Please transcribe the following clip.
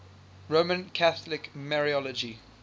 roman catholic mariology